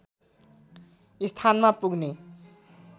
स्थानमा पुग्ने